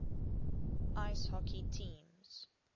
ice hockey teams